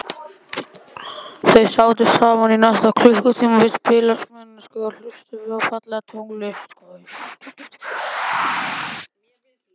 Þau sátu saman næstu klukkutímana við spilamennsku og hlustuðu á fallega tónlist.